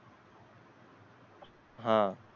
हां